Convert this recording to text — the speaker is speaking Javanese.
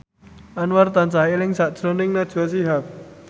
Anwar tansah eling sakjroning Najwa Shihab